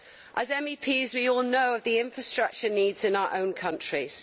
As MEPs, we all know of the infrastructure needs in our own countries.